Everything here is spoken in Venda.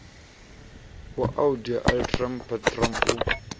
wa audi alteram partem u